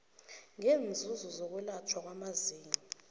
ngeenzuzo zokwelatjhwa kwamazinyo